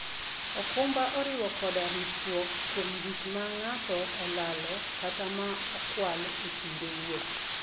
okumba oriwo koda ritruok kuom gik ma ng'ato olalo kata ma okwal e kinde wuoth.